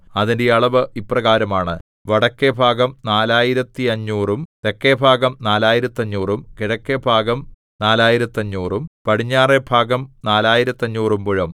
അതിന്റെ അളവ് ഇപ്രകാരമാണ് വടക്കെഭാഗം നാലായിരത്തഞ്ഞൂറും തെക്കെഭാഗം നാലായിരത്തഞ്ഞൂറും കിഴക്കെഭാഗം നാലായിരത്തഞ്ഞൂറും പടിഞ്ഞാറെഭാഗം നാലായിരത്തഞ്ഞൂറും മുഴം